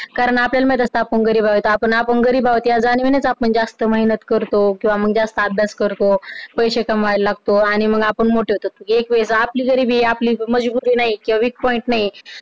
कारण आपल्याला माहित असत आपण गरीब अहो त्या जाणिवेनेच आपण जास्त मेहनत करतो किंवा मग जास्त अभ्यास करतो पैशे कमवायला लागतो आणि मग आपण मोठे होतो एक वेळेस आपली गरिबी, आपली मजबुरी नाही किंवा weak point नाही